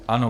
Ano.